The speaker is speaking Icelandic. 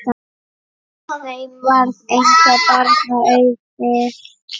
Þeim varð engra barna auðið.